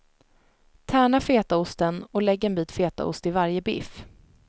Tärna fetaosten och lägg en bit fetaost i varje biff.